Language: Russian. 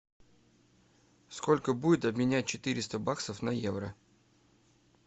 сколько будет обменять четыреста баксов на евро